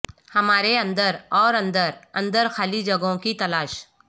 ہمارے اندر اور اندر اندر خالی جگہوں کی تلاش